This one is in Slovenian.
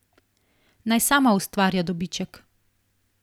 Naj sama ustvarja dobiček.